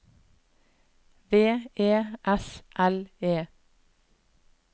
V E S L E